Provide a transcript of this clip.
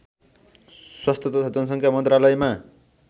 स्वास्थ्य तथा जनसङ्ख्या मन्त्रालयमा